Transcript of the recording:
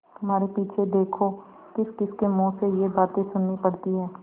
तुम्हारे पीछे देखो किसकिसके मुँह से ये बातें सुननी पड़ती हैं